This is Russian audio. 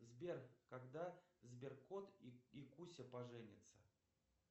сбер когда сберкот и куся поженятся